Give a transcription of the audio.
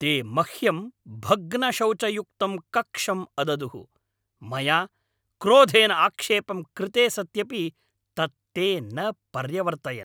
ते मह्यं भग्नशौचयुक्तं कक्षम् अददुः, मया क्रोधेन आक्षेपं कृते सत्यपि, तत् ते न पर्यवर्तयन्।